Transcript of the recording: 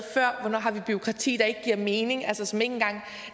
før om har bureaukrati der ikke giver mening altså som ikke engang